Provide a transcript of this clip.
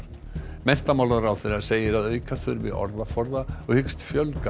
menntamálaráðherra segir að auka þurfi orðaforða og hyggst fjölga